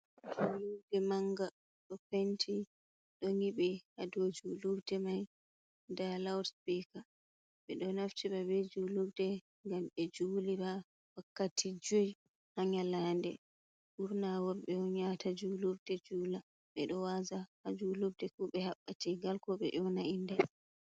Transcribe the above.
Julurde manga, do penti do nyibi hadow Julurde man. da laud spika be do naftira be Julurde gam be julira wakkati juiy ha nyalade burna worbe on yahata Julurde jula. ɓe do waaza ha Julurde ko be habɓa teegal ko be nyoyna inde.